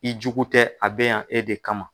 I jugu tɛ a bɛ yan e de kama.